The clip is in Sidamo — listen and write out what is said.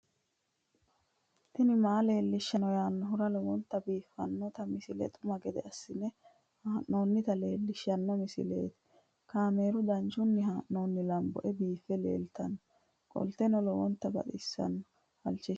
tini maa leelishshanno yaannohura lowonta biiffanota misile xuma gede assine haa'noonnita leellishshanno misileeti kaameru danchunni haa'noonni lamboe biiffe leeeltannoqolten lowonta baxissannoe halchishshanno yaate